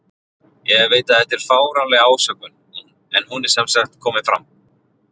Ég veit að þetta er fáránleg ásökun en hún er sem sagt komin fram.